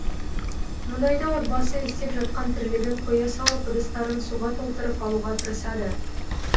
мұндайда отбасы істеп жатқан тірлігін қоя салып ыдыстарын суға толтырып алуға тырысады